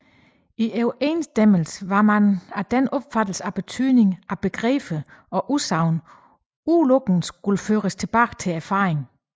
I overensstemmelse hermed var man af den opfattelse at betydningen af begreber og udsagn udelukkende skulle føres tilbage til erfaringen